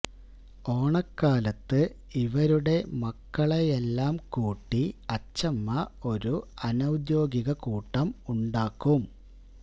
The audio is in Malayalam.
ഓണക്കാലത്ത് ഇവരുടെ മക്കളെയെല്ലാം കൂട്ടി അച്ഛമ്മ ഒരു അനൌദ്യോഗിക കൂട്ടം ഉണ്ടാക്കും